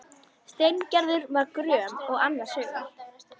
Steingerður var gröm og annars hugar.